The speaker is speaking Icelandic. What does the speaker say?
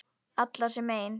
Allar sem ein.